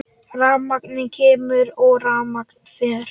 Rafmagn kemur og rafmagn fer.